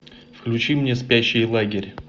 включи мне спящий лагерь